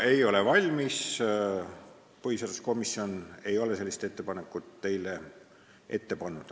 Ei ole valmis, põhiseaduskomisjon ei ole teile sellist ettepanekut ette pannud.